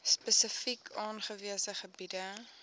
spesifiek aangewese gebiede